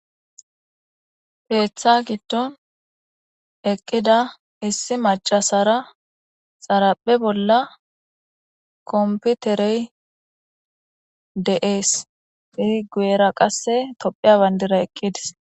peeththa gitton eqqida issi macasara xaraphe bolla komputerey de7ees pi guera qasse tophiya bandira eqqidis